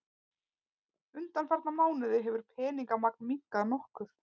Undanfarna mánuði hefur peningamagn minnkað nokkuð